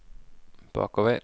bakover